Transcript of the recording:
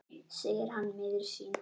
segir hann miður sín.